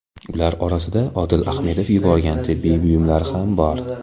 Ular orasida Odil Ahmedov yuborgan tibbiy buyumlar ham bor.